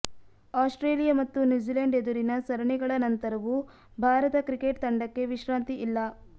Australia ಮತ್ತು New Zealand ಎದುರಿನ ಸರಣಿಗಳ ನಂತರವೂ ಭಾರತ ಕ್ರಿಕೆಟ್ ತಂಡಕ್ಕೆ ವಿಶ್ರಾಂತಿ ಇಲ್ಲ